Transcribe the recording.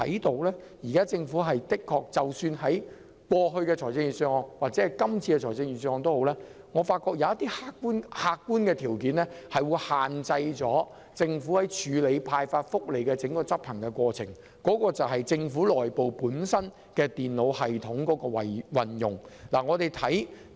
然而，就過去及今年的預算案而言，我發覺有一個客觀條件，限制了政府執行發放福利的整個過程，即政府內部電腦系統的運用。